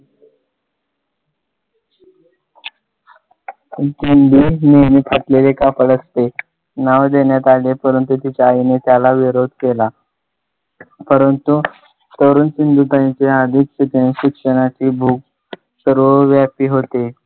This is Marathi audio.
विश्वंभर निर्मित असलेले कापड असे नाव देण्यात आले. परंतु त्याच्या आईने त्याला विरोध केला. परंतु तरुण सिंधुताईंचे आधीच शिक्षणाची भूक सर्वव्यापी होते.